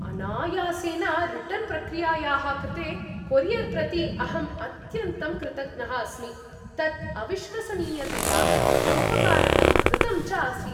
अनायासेन रिटर्न् प्रक्रियायाः कृते कोरियर् प्रति अहम् अत्यन्तं कृतज्ञः अस्मि, तत् अविश्वसनीयतया सोपकारकं द्रुतं च आसीत्।